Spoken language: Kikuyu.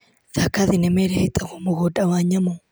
Thaka thinema ĩrĩa ĩtagwo mũgũnda wa nyamũ.